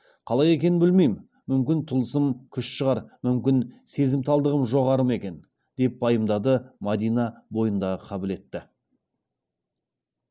қалай екенін білмеймін мүмкін тылсым күш шығар мүмкін сезімталдығым жоғары ма екен деп пайымдады мадина бойындағы қабілетті